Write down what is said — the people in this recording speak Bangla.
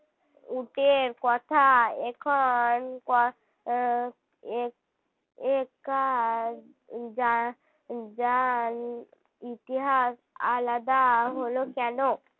উটের কথা এখন . ইতিহাস আলাদা হল কেন